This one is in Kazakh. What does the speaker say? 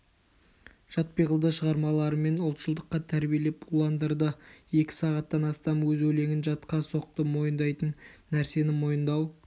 жат пиғылды шығармаларымен ұлтшылдыққа тәрбиелеп уландырды екі сағаттан астам өз өлеңін жатқа соқты мойындайтын нәрсені мойындау